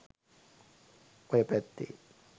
ඔය පැත්තේ.